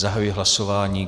Zahajuji hlasování.